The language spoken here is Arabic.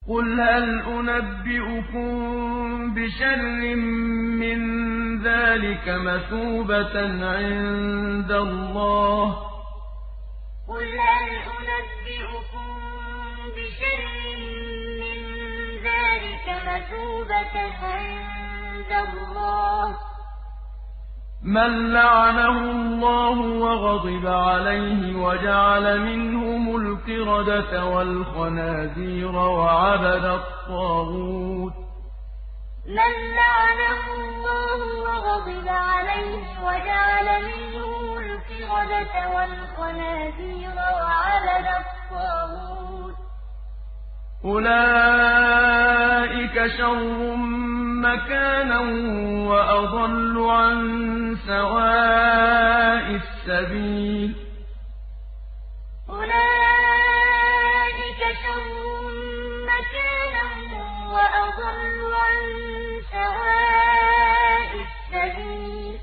قُلْ هَلْ أُنَبِّئُكُم بِشَرٍّ مِّن ذَٰلِكَ مَثُوبَةً عِندَ اللَّهِ ۚ مَن لَّعَنَهُ اللَّهُ وَغَضِبَ عَلَيْهِ وَجَعَلَ مِنْهُمُ الْقِرَدَةَ وَالْخَنَازِيرَ وَعَبَدَ الطَّاغُوتَ ۚ أُولَٰئِكَ شَرٌّ مَّكَانًا وَأَضَلُّ عَن سَوَاءِ السَّبِيلِ قُلْ هَلْ أُنَبِّئُكُم بِشَرٍّ مِّن ذَٰلِكَ مَثُوبَةً عِندَ اللَّهِ ۚ مَن لَّعَنَهُ اللَّهُ وَغَضِبَ عَلَيْهِ وَجَعَلَ مِنْهُمُ الْقِرَدَةَ وَالْخَنَازِيرَ وَعَبَدَ الطَّاغُوتَ ۚ أُولَٰئِكَ شَرٌّ مَّكَانًا وَأَضَلُّ عَن سَوَاءِ السَّبِيلِ